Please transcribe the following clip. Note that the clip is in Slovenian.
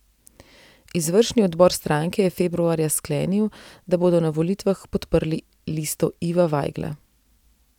Izvršni odbor stranke je februarja sklenil, da bodo na volitvah podprli listo Iva Vajgla.